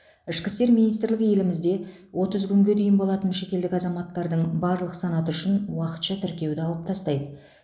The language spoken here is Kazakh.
ішкі істер министрлігі елімізде отыз күнге дейін болатын шетелдік азаматтардың барлық санаты үшін уақытша тіркеуді алып тастайды